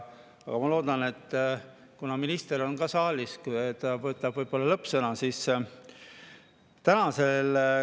Aga ma loodan, et kuna minister on ka saalis, siis ta ütleb võib-olla lõppsõna.